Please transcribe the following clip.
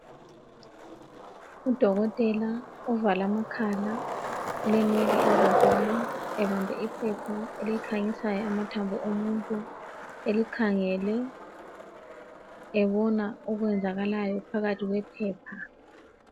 Udokotela ovale amakhala, ulenwele ezinkulu, ebambe iphepha elikhanyisayo amathambo omuntu..Elikhangele, ebona okwenzakalayo phakathi kwephepha.